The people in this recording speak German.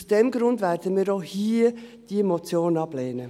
Aus diesem Grund werden wir diese Motion hier auch ablehnen.